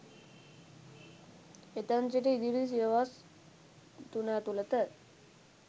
එතැන් සිට ඉදිරි සියවස් තුන ඇතුළත